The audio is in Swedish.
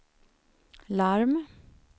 larm